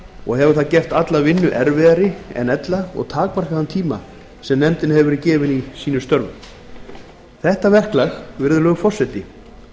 og hefur það gert alla vinnu erfiðari en ella og takmarkað þann tíma sem nefndinni hefur verið gefinn í sínum störfum þetta verklag virðulegur forseti